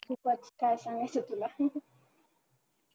खूपच काय पण शेतीला